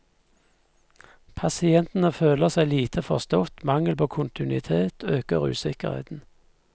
Pasientene føler seg lite forstått, mangel på kontinuitet øker usikkerheten.